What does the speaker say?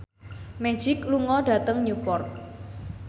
Magic lunga dhateng Newport